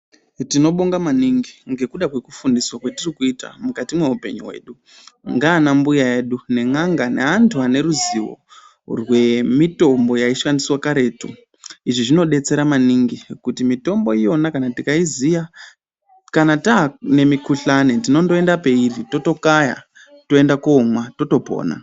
Tinobonga maningi, ngekuda kwekufundiswa kwetiri kuita mukati mweupenyu hwedu ngaana mbuya edu ne n'anga neanthu ane ruziwo rwemitombo yaishandiswa karetu. Izvi zvinodetsera maningi kuti mitombo iyona kana tikaiziya kana taane mukhuhlane tinondoenda peiri totokaya toenda koomwa totopona.